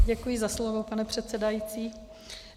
Děkuji za slovo, pane předsedající.